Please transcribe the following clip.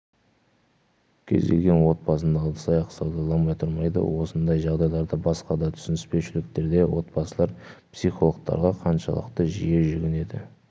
кез келген отбасында ыдыс-аяқ сылдырламай тұрмайды осындай жағдайларда басқа да түсініспеушіліктерде отбасылар психологтарға қаншалықты жиі жүгінеді